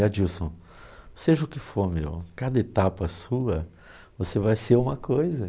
É Dilson, seja o que for, meu, cada etapa sua, você vai ser uma coisa.